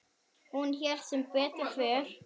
Hann hélt sem betur fer.